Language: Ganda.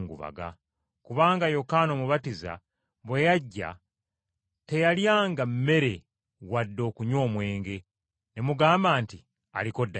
Kubanga Yokaana Omubatiza bwe yajja teyalyanga mmere wadde okunywa omwenge, ne mugamba nti, ‘Aliko dayimooni!’